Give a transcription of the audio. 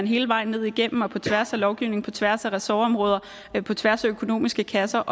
hele vejen ned igennem og på tværs af lovgivningen og på tværs af ressortområder og på tværs af økonomiske kasser